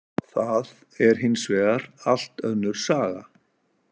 Það er hins vegar allt önnur saga.